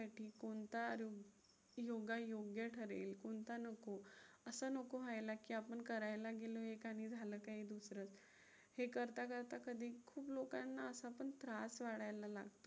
कोणता योगा योग्य ठरेल कोणता नको. असं नको व्हायला की आपण करायला गेलो एक आणि झालं काही दुसरंच. हे करता करता कधी खूप लोकाना असं पण त्रास वाढायला लागतो.